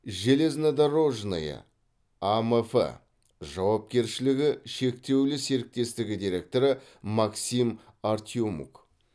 железнодорожное амф жауапкершілігі шектеулі серіктестігі директоры максим артемук